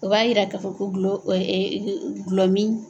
U b'a yira k'a fɔ ko gulɔ gulɔmin